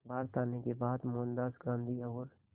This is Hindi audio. भारत आने के बाद मोहनदास गांधी और